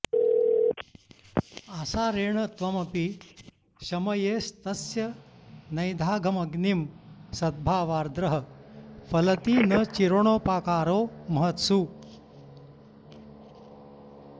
आसारेण त्वमपि शमयेस्तस्य नैदाघमग्निं सद्भावार्द्रः फलति न चिरेणोपकारो महत्सु